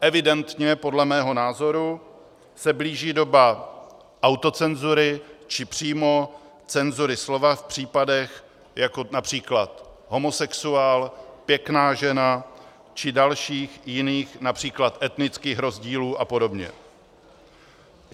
Evidentně, podle mého názoru, se blíží doba autocenzury, či přímo cenzury slova v případech, jako například homosexuál, pěkná žena či dalších jiných, například etnických rozdílů, a podobně.